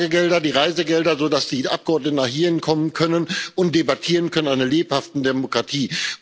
Die Tagegelder, die Reisegelder, sodass die Abgeordneten hierhinkommen können und debattieren können in einer lebhaften Demokratie.